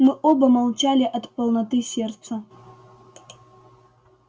мы оба молчали от полноты сердца